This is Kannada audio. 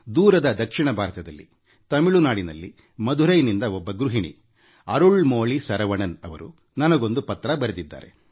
ದೂರದ ದಕ್ಷಿಣ ಭಾರತದಲ್ಲಿತಮಿಳುನಾಡಿನಲ್ಲಿ ಮದುರೈನಿಂದ ಒಬ್ಬರು ಗೃಹಿಣಿ ಅರುಳ್ ಮೋಳಿ ಶರವಣನ್ ಅವರುನನಗೊಂದು ಪತ್ರ ಬರೆದು ಕಳುಹಿಸಿದ್ದಾರೆ